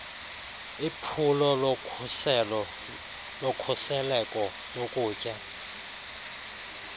iphulo lokhusleko lokutya